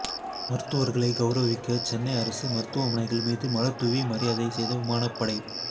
மருத்துவர்களை கௌரவிக்க சென்னை அரசு மருத்துவமனைகள் மீது மலர்தூவி மரியாதை செய்த விமானப்படை